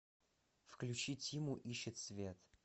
включи тиму ищет свет